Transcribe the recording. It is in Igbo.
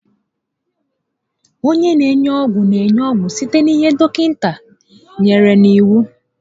Onye n'enye ọgwụ n'enye ọgwụ site n'ihe dọkịta nyèrè n'iwu